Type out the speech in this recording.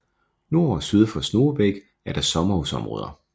Nord og syd for Snogebæk er der sommerhusområder